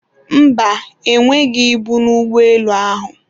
mba, ha enweghị ibu n'ụgbọelu ahụ